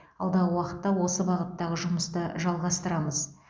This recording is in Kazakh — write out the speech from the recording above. алдағы уақытта осы бағыттағы жұмысты жалғастырамыз